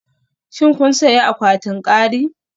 Shin kun sayi akwatin kari?